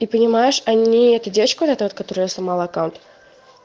и понимаешь они эту девочку вот эту вот которой я сломала аккаунт